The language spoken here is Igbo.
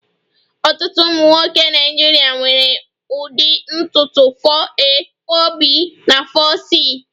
Ọtụtụ ụmụ nwoke Naịjirịa nwere ụdị ntutu 4a,4b na 4c